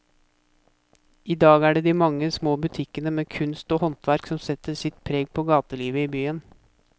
I dag er det de mange små butikkene med kunst og håndverk som setter sitt preg på gatelivet i byen.